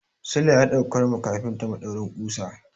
Sule ya daukar ma kafinta maɗaurin ƙusa.